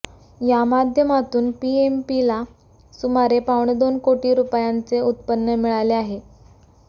या माध्यमातून पीएमपीला सुमारे पावणेदोन कोटी रुपयांचे उत्पन्न मिळाले आहे